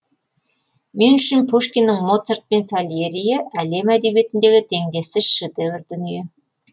мен үшін пушкиннің моцарт пен сальериі әлем әдебиетіндегі теңдессіз шедевр дүние